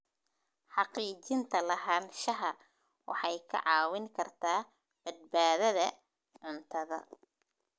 Xaqiijinta lahaanshaha waxay kaa caawin kartaa badbaadada cuntada.